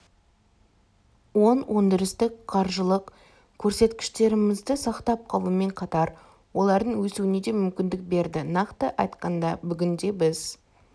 оң өндірістік-қаржылық көрсеткіштерімізді сақтап қалумен қатар олардың өсуіне де мүмкіндік берді нақты айтқанда бүгінде біз